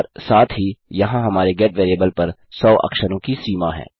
और साथ ही यहाँ हमारे गेट वेरिएबल पर सौ अक्षरों की सीमा है